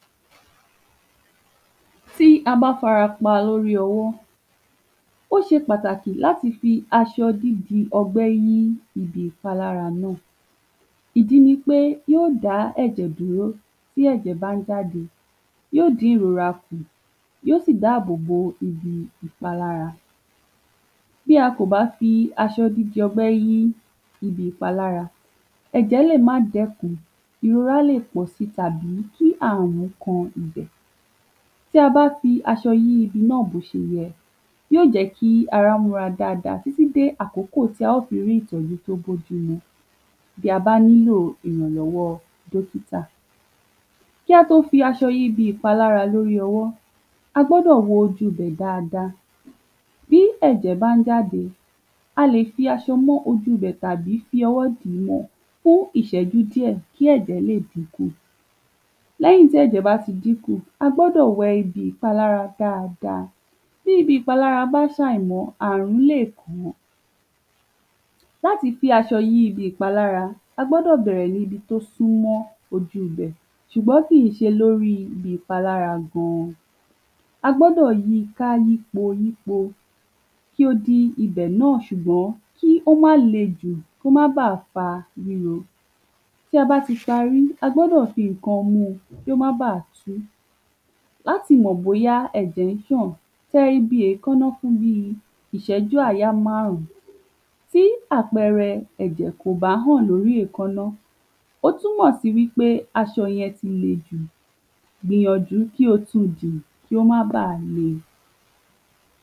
Lóri àgbàdó, bí a ṣe n gbìín àti bí a ṣe n tọ́jú rẹ̀. Àgbàdo jẹ́ ọ̀kan lára àwọnohun ọ̀gbìn tí a má n sá bà gbìn nínu orí ìlẹ̀ èdè wa Pàápàá júlọ ní ìwọ̀ òórùn àti ní ìlà òórùn Bá wo ní a ṣé n gbin àgbàdo? Lẹ́yìn tí a bá ti yọ ilẹ̀ tí a fẹ́ gbin àgbàdo si tí a sir o gbogbo kórikó rẹ̀ dànù, á o gbin àgbàdo sí nu ihò ilẹ̀ tí a o fí awọn ìpakòkòrò páeku si ara rẹ̀ Kí àwọn ẹyẹ oko má ba fí jẹ lẹ́yìn náà lẹ́yìn ijọ́ mélò kan, á o fí ajílẹ̀ si àti orísirísi ohun tí yó jẹ ko tétè dàgbà. Lẹ́yìn náà a ma fú ní omi ní òrèkórè á o sì má tú gbogbo kórikó tó wà ni ìdí rẹ̀ kí o má bà ku Àgbàdo á ma lo oṣù mẹ́ta sí oṣù márùn-ún láti wù, lẹ́yìn tí o bá ti wù, á o ka kúrò lóri oko á o sì lọ́ ko sínú àkà níbi ti á o ti tọ́jú rẹ̀ títí digbà tí a ba fẹ́ tàá tàbi tí a bá fẹ́ túngbìn. Orísirísi kòkòrò ló má n ba àwọn àgbàdo fíra Bíì tata àti bẹ́ẹ̀bẹ́ẹ̀ lọ. Lẹ́yìn tí a bá ti ko àgbàdo kúrò lóri, ó di dàndàn ká ko sínú àpò tàbi ká ko sínú àkà kí ẹranko má ba jẹ́, kí o má bà bàjẹ́. Àwọn àgbẹ̀ á ma tá àgbàdo wọn a sì ma jẹ wọn á ma fí àgbàdo ṣe orísirísi óunjẹ bí ògì, bí ọkà àti bẹ́ẹ̀bẹ́ẹ̀ lọ, ọ̀pọ̀lọpọ̀ ni ànfàní tó wà ní àgbado gbíngbìn, ṣùgbọ́n díẹ̀ nínú rẹ̀ láti sọ yìí